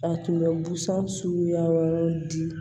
A tun bɛ busan suguya wɛrɛw di